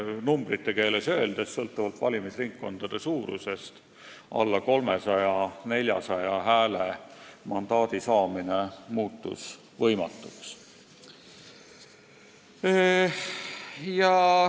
Numbrite keeles öelduna, sõltuvalt valimisringkondade suurusest muutus mandaadi saamine alla 300–400 häälega võimatuks.